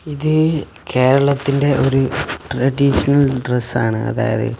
ഇത് കേരളത്തിൻറെ ഒരു ട്രഡീഷണൽ ഡ്രസ്സ് ആണ് അതായത്--